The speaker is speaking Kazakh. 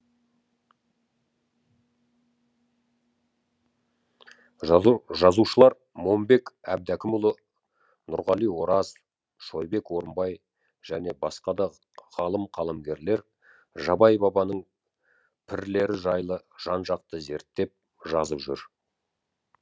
жазушылар момбек әбдәкімұлы нұрғали ораз шойбек орынбай және басқа да ғалым қаламгерлер жабай бабаның пірлері жайлы жан жақты зерттеп жазып жүр